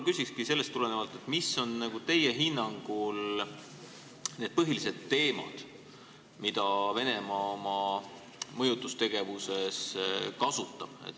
Küsingi sellest tulenevalt, mis on teie hinnangul need põhilised teemad, mida Venemaa oma mõjutustegevuses kasutab.